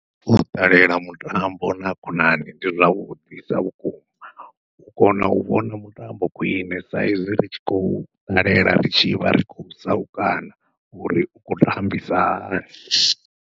U ṱalela mutambo na khonani ndi zwavhuḓisa vhukuma, u kona u vhona mutambo khwiṋe saizwi ri tshi khou ṱalela ri tshivha ri khou saukana uri u khou tambisa hani.